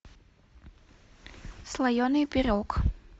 слоеный пирог